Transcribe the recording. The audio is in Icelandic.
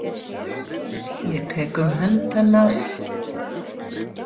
Ég tek um hönd hennar.